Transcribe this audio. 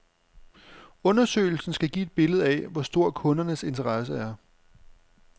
Undersøgelsen skal give et billede af, hvor stor kundernes interesse er.